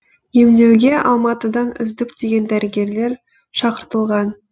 емдеуге алматыдан үздік деген дәрігерлер шақыртылған